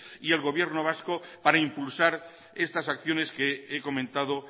y el gobierno vasco para impulsar estas acciones que he comentado